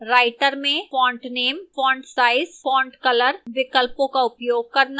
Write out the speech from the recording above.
writer में font name font size font color विकल्पों का उपयोग करना